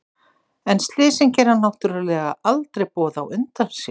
En slysin gera náttúrlega aldrei boð á undan sér.